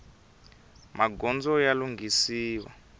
magondzo ya lunghisiwa